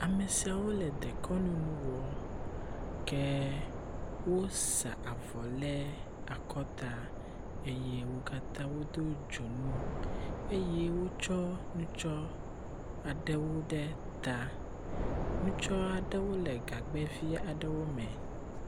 Ame siawo le dekɔnu nu wɔm ke wosa avɔ le akɔta eye wo katã wodo dzonu eye wotsɔ nutsɔ aɖewo ɖe ta. Nutsɔ aɖewo le gagbɛvi aɖewo me.